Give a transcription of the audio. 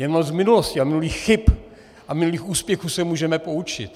Jenom z minulosti a minulých chyb a minulých úspěchů se můžeme poučit.